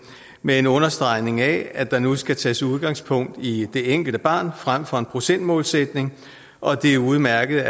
med en understregning af at der nu skal tages udgangspunkt i det enkelte barn frem for en procentmålsætning og at det er udmærket